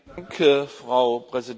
Frau Präsidentin!